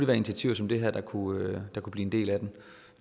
være initiativer som det her der kunne blive en del af den